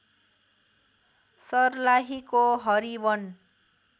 सर्लाहीको everyone